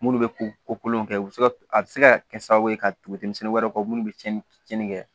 Munnu bɛ ko kolon kɛ u bi se ka a bi se ka kɛ sababu ye ka tugu denmisɛnnin wɛrɛw kan minnu bɛ tiɲɛni tiɲɛni kɛ